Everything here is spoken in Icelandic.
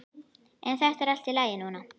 En þetta er allt í lagi núna.